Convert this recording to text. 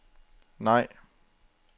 nej